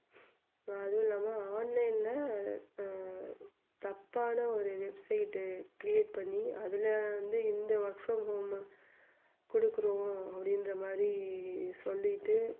ஆஹ் அதுவுமில்லாம online ல அஹ் தப்பான ஒரு website create பண்ணி அதுல வந்து இந்த வருஷம் குடுக்குறோம் அப்படின்றமாதிரி சொல்லிட்டு